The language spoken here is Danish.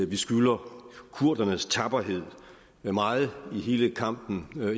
vi skylder kurdernes tapperhed meget i hele kampen mod